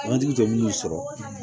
Wagati tɛ minnu sɔrɔ